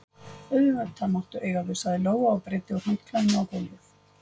Auðvitað máttu eiga þau, sagði Lóa og breiddi úr handklæðinu á gólfið.